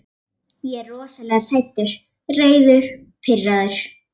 Ég er rosalega hræddur, reiður, pirraður.